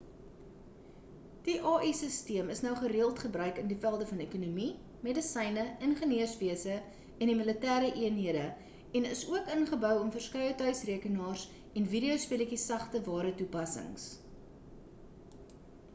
die ai sisteen is nou gereeld gebruik in die velde van ekonomie medisyne ingeneurswese en die militêre eenhede en is ook ingebou in verskeie tuisrekenaars en videospeletjie sagteware toepassings